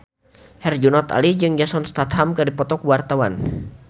Herjunot Ali jeung Jason Statham keur dipoto ku wartawan